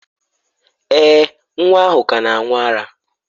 Èè, nwa ahụ ka na-aṅụ ara.